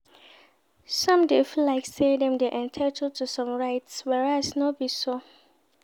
Some de feel like say dem dey entitled to some rites whereas no be so